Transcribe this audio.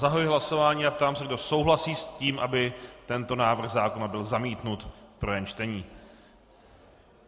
Zahajuji hlasování a ptám se, kdo souhlasí s tím, aby tento návrh zákona byl zamítnut v prvém čtení.